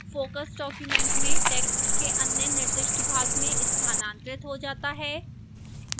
focus document में text के अन्य निर्दिष्ट भाग में स्थानांतरित हो जाता है